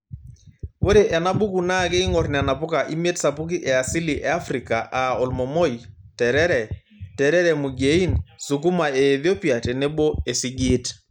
Ore ena buku naa keingorr nena puka imiet sapuki e asili e Afrika aa olmomoi, nterere, nterere mugiein, sukuma e Ethopi tenebo esigiit.